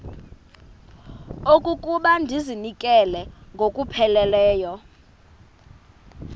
okokuba ndizinikele ngokupheleleyo